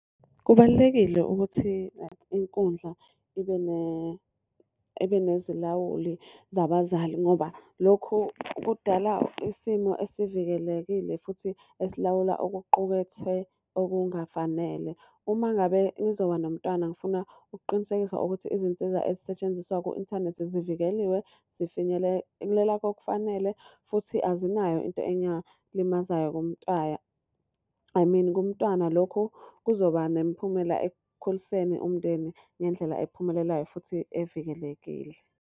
Kubalulekile ukuthi like inkundla ibe nezilawuli zabazali ngoba lokhu kudala isimo esivikelekile futhi esilawula okuqukethwe okungafanele. Uma ngabe ngizoba nomntwana ngifuna ukuqinisekisa ukuthi izinsiza ezisetshenziswa ku-inthanethi zivikeliwe, zifinyelela kokufanele futhi azinayo into engalimazayo kumntaya, I mean kumntwana. Lokhu kuzoba nemiphumela ekukhuliseni umndeni ngendlela ephumelelayo futhi evikelekile.